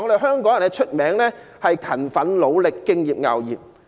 香港人出名勤奮、努力、敬業樂業。